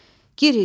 Giriş.